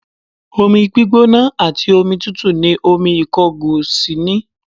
Omi gbígbóná àti omi tútù ni omi ìkọgòsì ní